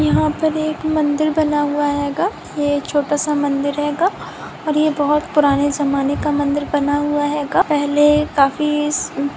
यहा पर एक मंदिर बना हुआ हेगा। ये छोटासा मंदिर हेगा और ये बहुत पुराने जमाने का मंदिर बना हुआ हेगा। पहले काफीस अं --